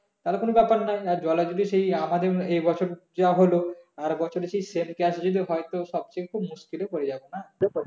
তাহলে কোনো ব্যাপার নেই আর জলে যদি সেই আমাদের এই বছর যা হলো আর বছর যদি same case যদি হয় তো সবচেয়ে খুব মুশকিলে পড়ে যাবো না